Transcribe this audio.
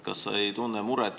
Kas sa muret ei tunne?